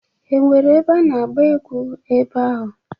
E nwere ebe a na-agba egwu ebe ahụ?